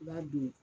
I b'a don